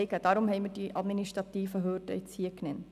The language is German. Deshalb haben wir die administrativen Hürden genannt.